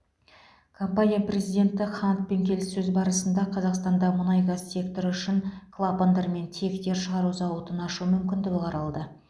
компания президенті хантпен келіссөз барысында қазақстанда мұнайгаз секторы үшін клапандар мен тиектер шығару зауытын ашу мүмкіндігі қаралды